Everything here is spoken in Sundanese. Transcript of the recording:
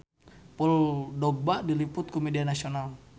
Paul Dogba diliput ku media nasional